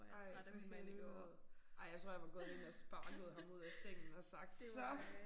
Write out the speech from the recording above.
Ej for helvede. Ej jeg tror jeg var gået ind og sparket ham ud af sengen og sagt så